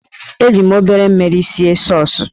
Eji m obere mmiri sie sọọs.